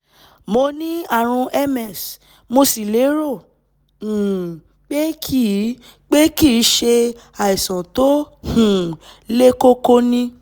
mo ní ààrùn ms mo sì lérò um pé kìí pé kìí ṣe àìsàn tó um le koko ni